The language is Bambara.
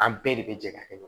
An bɛɛ de bɛ jɛ ka kɛ